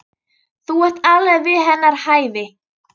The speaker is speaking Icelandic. Þú ert alveg við hennar hæfi.